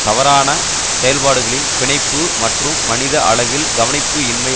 தவறான செயற்பாடுகளின் பிணைப்பு மற்றும் மனித அளவில் கவனிப்பு இன்மை